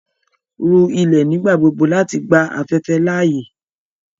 Rú ilẹ̀ nígbàgbogbò láti gbà afẹ̀fẹ̀ laaye!